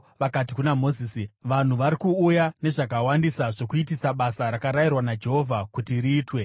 vakati kuna Mozisi, “Vanhu vari kuuya nezvakawandisa zvokuitisa basa rakarayirwa naJehovha kuti riitwe.”